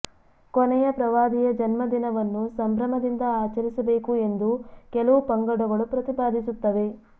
ಕೊನೆಯ ಪ್ರವಾದಿಯ ಜನ್ಮದಿನವನ್ನು ಸಂಭ್ರಮದಿಂದ ಆಚರಿಸಬೇಕು ಎಂದು ಕೆಲವು ಪಂಗಡಗಳು ಪ್ರತಿಪಾದಿಸುತ್ತವೆ